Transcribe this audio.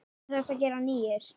Til þess að gera nýir.